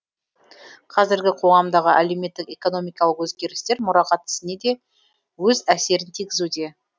қазіргі қоғамдағы әлеуметтік экономикалық өзгерістер мұрағат ісіне де өз әсерін тигізуде